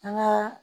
An ka